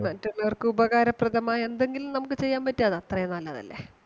മറ്റുള്ളവർക്ക് ഉപകാരപ്രദമായ എന്തെങ്കിലും നമുക്ക് ചെയ്യാൻ പറ്റിയ അത് അത്രേം നല്ലതല്ലേ.